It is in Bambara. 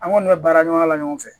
An kɔni bɛ baara ɲɔgɔnya la ɲɔgɔn fɛ